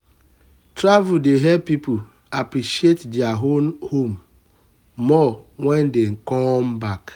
travel dey help pipo appreciate their own home more wen dey come back